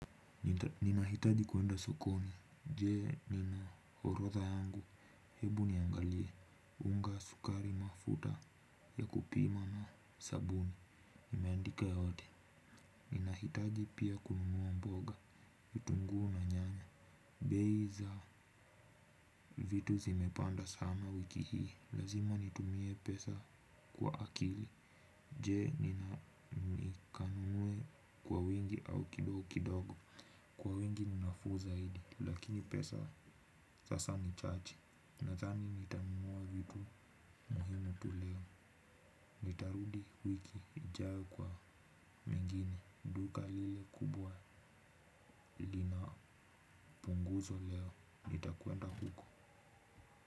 Ninahitaji kwenda sokoni, jee nina horodha yangu, hebu niangalie, unga sukari mafuta ya kupima na sabuni, imeandika yote. Ninahitaji pia kununua mboga, vitunguu na nyanya, beiza vitu zimepanda sana wiki hii, lazima nitumie pesa kwa akili. Je nina nikanunue kwa wingi au kidogo kidogo. Kwa wingi ni nafuu zaidi lakini pesa sasa ni chache. Nadhani nitanunua vitu muhimu tuleo. Nitarudi wiki ijayo kwa mengine duka lile kubwa lina punguzwa leo. Nitakwenda huko.